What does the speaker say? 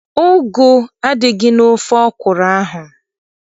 Ugu adịghị n'ofe ọkwụrụ ahụ.